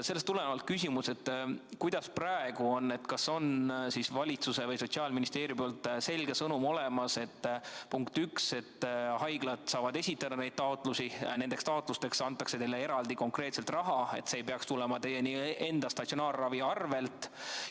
Sellest tulenevalt küsimus: kuidas praegu on, kas valitsuselt või Sotsiaalministeeriumilt on selge sõnum saadud, punkt üks, et haiglad saavad esitada taotlusi ja nendeks taotlusteks antakse neile eraldi raha, nii et see ei peaks tulema haigla enda statsionaarse ravi arvelt?